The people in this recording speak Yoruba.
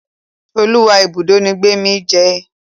Oluwa Ibùdó ní Gbemi jé.